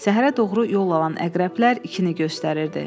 Səhərə doğru yol alan əqrəblər ikini göstərirdi.